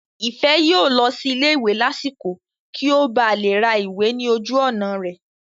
Ìfẹ́ yóò lọ sí ilé ìwé lásìkò kí ó ba lè ra ìwé ní ojú ọ̀nà rẹ̀